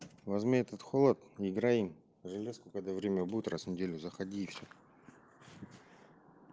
возьми этот холод играем в железку когда время будет раз в неделю заходи и все